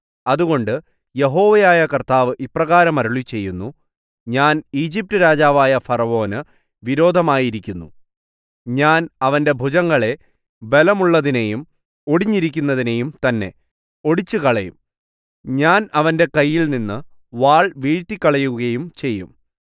അതുകൊണ്ട് യഹോവയായ കർത്താവ് ഇപ്രകാരം അരുളിച്ചെയ്യുന്നു ഞാൻ ഈജിപ്റ്റ് രാജാവായ ഫറവോനു വിരോധമായിരിക്കുന്നു ഞാൻ അവന്റെ ഭുജങ്ങളെ ബലമുള്ളതിനെയും ഒടിഞ്ഞിരിക്കുന്നതിനെയും തന്നെ ഒടിച്ചുകളയും ഞാൻ അവന്റെ കൈയിൽനിന്നു വാൾ വീഴ്ത്തികളയുകയും ചെയ്യും